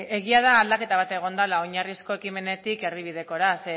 egia da aldaketa bat egon dela oinarrizko ekimenetik erdibidekora ze